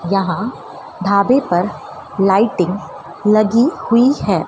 यहां ढाबे पर लाइटिंग लगी हुई है।